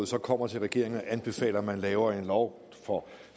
så kommer til regeringen og anbefaler at man laver en lov